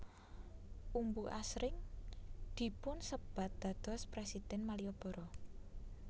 Umbu asring dipunsebat dados Presiden Malioboro